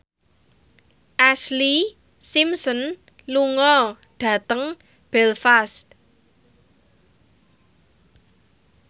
Ashlee Simpson lunga dhateng Belfast